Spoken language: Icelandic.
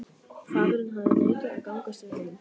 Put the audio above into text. Faðirinn hafði neitað að gangast við honum.